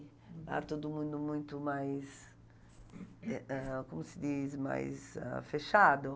Lá todo mundo é muito mais, é ãh como se diz, mais ah fechado.